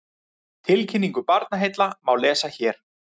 Tilkynningu Barnaheilla má lesa hér